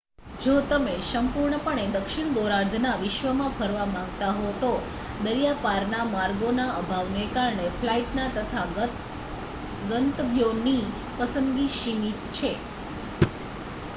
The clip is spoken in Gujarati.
જો તમે સંપૂર્ણપણે દક્ષિણ ગોળાર્ધના વિશ્વમાં ફરવા માગતા હો તો દરિયાપારના માર્ગોના અભાવને કારણે ફ્લાઇટ તથા ગંતવ્યોની પસંદગી સીમિત છે